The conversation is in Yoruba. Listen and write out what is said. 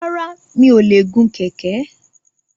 Rárá, mi ò lè gun kẹ̀kẹ́